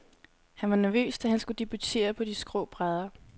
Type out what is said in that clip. Han var nervøs, da han skulle debutere på de skrå brædder.